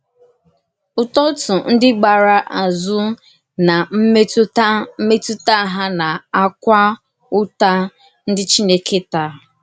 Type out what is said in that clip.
Ụ́tọ̀tụ̀ ndí gbàrà àzù na mmètùtà mmètùtà hà na-àkwà ụ̀tà ndí Chìnèkè tàà.